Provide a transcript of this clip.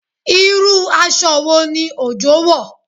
Irú aṣọ wo ni Ojo wọ̀?